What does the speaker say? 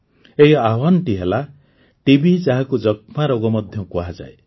ଏହି ଆହ୍ୱାନଟି ହେଲା ଟିବି ଯାହାକୁ ଯକ୍ଷ୍ମା ରୋଗ ମଧ୍ୟ କୁହାଯାଏ